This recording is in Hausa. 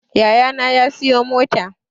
Yayana ya sayi mota